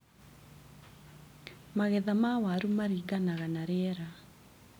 Magetha ma waru maringanaga na rĩera.